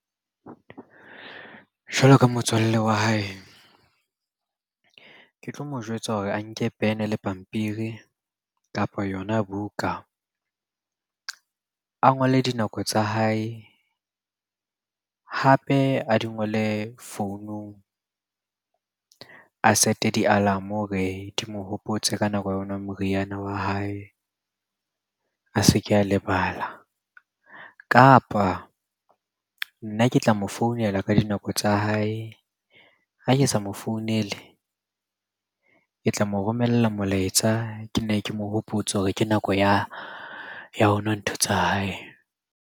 Jwalo ka motswalle wa hae, ke tlo mo jwetsa hore a nke pen le pampiri, kapo yona buka. A ngole dinako tsa hae, hape a di ngole founung. A set-e di-alarm-o hore di mo hopotse ka nako ya ho nwa moriana wa hae, a se ke a lebala. Kapa nna ke tla mo founela ka dinako tsa hae, ha ke sa mo founele ke tla mo romella molaetsa ke nne ke mo hopotse hore ke nako ya ho nwa ntho tsa hae.